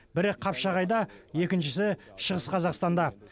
бірі қапшағайда екіншісі шығыс қазақстанда